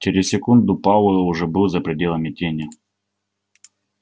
через секунду пауэлл уже был за пределами тени